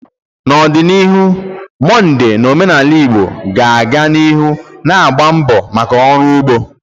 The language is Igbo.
N’ọdịnihu, Mọnde n’omenala Igbo ga-aga n’ihu na-agba mbọ maka ọrụ ugbo.